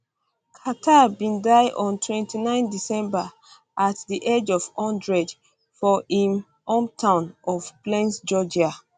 carter bin die on 29 december at di age of one hundred for im im hometown of plains georgia